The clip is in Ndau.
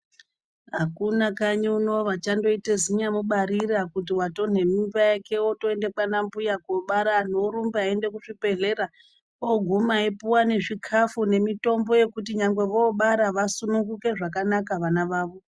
Hakuna kanyi uno vachandoita zinyamubarira kuti watonde mimba yake woenda kwaana mbuya anhu vorumba kuzvibhehlera oguma opuwa nezvikafu nemitombo yekuti nyangwe vobara vasununguke zvakanaka vana vavo